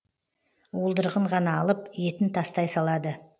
уылдырығын ғана алып етін тастай салады